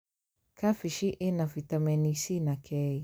Kambĩji ĩna bitameni C na K